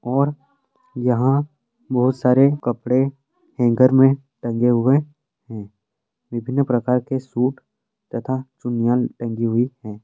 और यहाँ बहुत सारे कपड़े हेंगर में टंगे हुए हैं। विभिन्न प्रकार के सूट तथा चुन्निया टंगी हुई हैं।